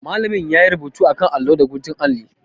Malamin ya yi rubutu a kan allo da guntun alli.